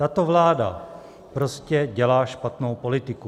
Tato vláda prostě dělá špatnou politiku.